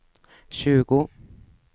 tjugo